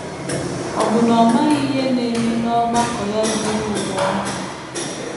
Ọ̀ bụ na ọ maghị ihe na - eme n’ọgbakọ ya zuru ụwa ọnụ?